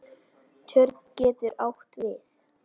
Tjörn getur átt við